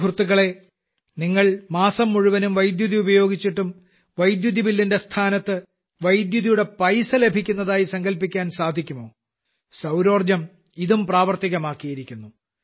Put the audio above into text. സുഹൃത്തുക്കളേ നിങ്ങൾ മാസം മുഴുവനും വൈദ്യുതി ഉപയോഗിച്ചിട്ടും വൈദ്യുതിബില്ലിന്റെ സ്ഥാനത്ത് വൈദ്യുതിയുടെ പൈസ ലഭിക്കുന്നതായി സങ്കൽപ്പിക്കാൻ സാധിക്കുമോ സൌരോർജ്ജം ഇതും പ്രാവർത്തികമാക്കിയിരിക്കുന്നു